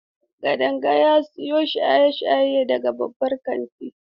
Kadanga ya siyo shaye-shaye daga babban kantin.